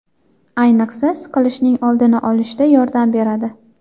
Ayniqsa, siqilishning oldini olishda yordam beradi.